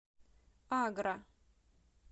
агра